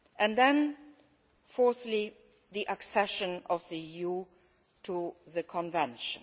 Then, fourthly, the accession of the EU to the Convention.